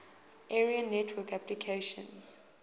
area network applications